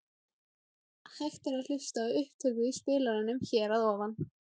Hægt er að hlusta á upptöku í spilaranum hér að ofan.